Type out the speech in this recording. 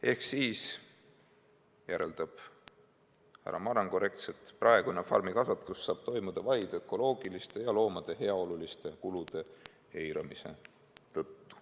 " Härra Maran järeldab: "Ehk siis praegune farmikasvatus saab toimuda vaid ökoloogiliste ja loomade heaoluliste kulude eiramise tõttu.